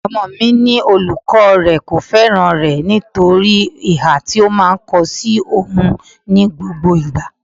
Ọmọ mi ní olùkọ́ rẹ kò fẹ́ràn rẹ nítorí ìhà tí ó máa ń kó sí oùn ní gbogbo ìgbà.